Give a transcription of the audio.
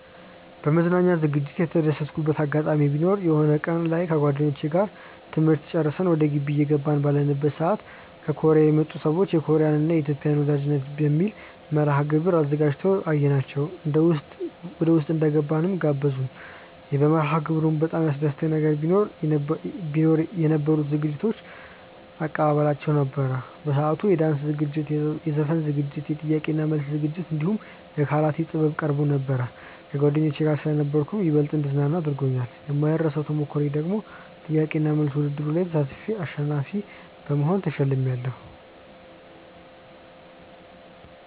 በመዝናኛ ዝግጅት የተደሰትኩበት አጋጣሚ ቢኖር የሆነ ቀን ላይ ከጓደኞቼ ጋር ትምህርት ጨርሰን ወደ ግቢ እየገባን ባለንበት ሰዓት ከኮርያ የመጡ ሰዎች የኮርያን እና የኢትዮጵያን ወዳጅነት በሚል መርሐግብር አዘጋጅተው አየናቸው ወደውስጥ እንድንገባም ጋበዙን። በመርሐግብሩም በጣም ያስደሰተኝ ነገር ቢኖ የነበሩት ዝግጅቶች እባ አቀባበላቸው ነበር። በሰአቱም የዳንስ ዝግጅት፣ የዘፈን ዝግጅት፣ የጥያቄ እና መልስ ዝግጅት እንዲሁም የካራቴ ጥበብ ቀርቦ ነበር። ከጓደኞቼ ጋር ስለነበርኩም ይበልጥ እንድዝናና አድርጎኛል። የማይረሳው ተሞክሮዬ ደግሞ ጥያቄ እና መልስ ውድድሩ ላይ ተሳትፌ አሸናፊ በመሆን ተሸልሜያለው።